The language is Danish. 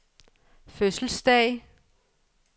fødselsdag